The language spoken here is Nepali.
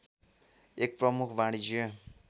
एक प्रमुख वाणिज्य